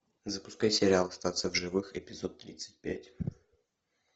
запускай сериал остаться в живых эпизод тридцать пять